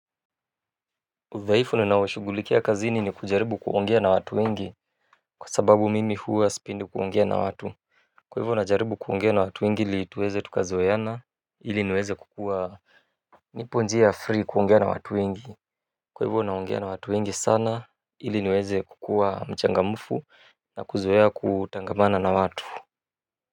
Udhaifu ninaoshughulikia kazini ni kujaribu kuongea na watu wengi kwa sababu mimi huwa sipendi kuongea na watu. Kwa hivyo najaribu kuongea na watu wengi ili tuweze tukazoeana ili niweze kukua niponjia free kuongea na watu wengi. Kwa hivyo naongea na watu wengi sana ili niweze kukuwa mchangamfu na kuzoea kutangamana na watu.